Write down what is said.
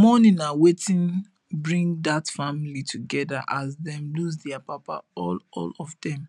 mourning na wetin bring dat family together as dem lose their papa all all of dem